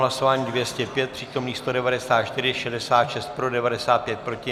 Hlasování 205, přítomných 194, 66 pro, 95 proti.